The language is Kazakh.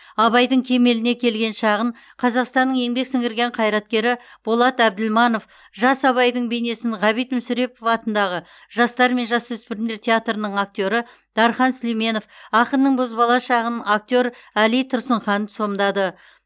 абайдың кемеліне келген шағын қазақстанның еңбек сіңірген қайраткері болат әбділманов жас абайдың бейнесін ғабит мүсірепов атындағы жастар мен жасөспірімдер театрының актері дархан сүлейменов ақынның бозбала шағын актер әли тұрсынхан сомдады